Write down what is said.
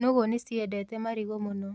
Nũgũ nĩciendete marigũ mũno.